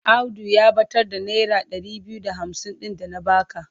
Audu ya ɓatar da naira ɗari biyu da hamsin ɗin da na ba ka.